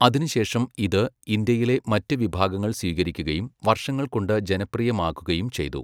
അതിനുശേഷം ഇത് ഇന്ത്യയിലെ മറ്റ് വിഭാഗങ്ങൾ സ്വീകരിക്കുകയും വർഷങ്ങൾകൊണ്ട് ജനപ്രിയമാക്കുകയും ചെയ്തു.